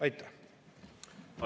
Aitäh!